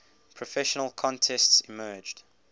professional contests emerged